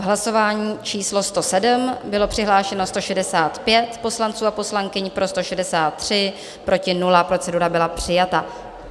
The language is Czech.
V hlasování číslo 107 bylo přihlášeno 165 poslanců a poslankyň, pro 163, proti nula, procedura byla přijata.